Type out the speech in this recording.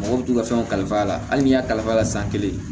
Mɔgɔ bɛ t'u ka fɛnw kalifa a la hali n'i y'a kalifa a la san kelen